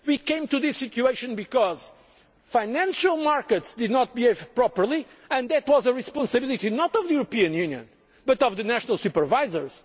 here. We came to this situation because the financial markets did not behave properly and that was the responsibility not of the European Union but of the national supervisors.